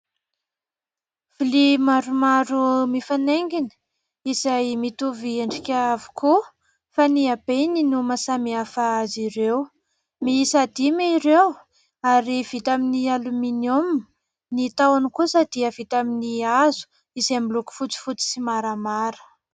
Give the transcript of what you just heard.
Vilia maromaro mifanaingina izay mitovy endrika avokoa fa ny habeny no mahasamihafa azy ireo. Miisa dimy ireo ary vita amin'ny "aluminium", ny tahony kosa dia vita amin'ny hazo izay miloko fotsifotsy sy maramara.